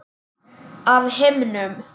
Af himnum?